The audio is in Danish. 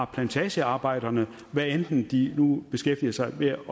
plantagearbejderne hvad enten de nu beskæftiger sig med at